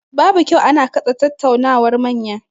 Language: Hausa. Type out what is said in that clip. Babu kyau ana katse tattaunawar manya.